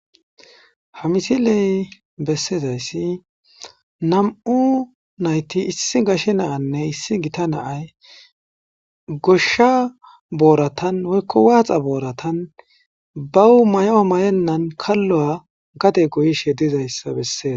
Ha misiley bessezayssi nam7u nayti issi gashe naanne issi gita naay goshsha booratan woykko waaxa booratan bawu mayo mayennan kallo7a gate goyishe dizayssa besses.